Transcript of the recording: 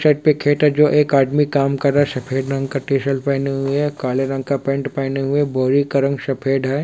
Side पे खेत है जो एक आदमी काम कर रहा है सफ़ेद रंग का टीशर्ट पेहने हुए है काले रंग का पेंट पेहने हुए है बोरी का रंग सफ़ेद है।